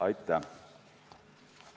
Aitäh!